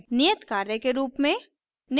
नियत कार्य के रूप में